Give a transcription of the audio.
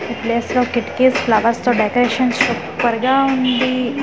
ఈ ప్లేస్ లో కిటికిస్ ఫ్లవర్స్ తో డెకొరేషన్ సూపర్ గా వుందీ .